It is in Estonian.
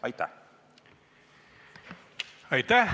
Aitäh!